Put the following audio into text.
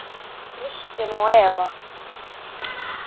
Kristin og Eva.